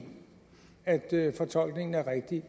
at fortolkningen er rigtig